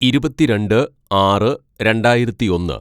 "ഇരുപത്തിരണ്ട് ആറ് രണ്ടായിരത്തിയൊന്ന്‌